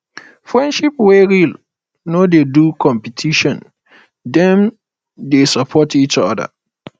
friendship wey real no dey do competition dem dey support each oda oda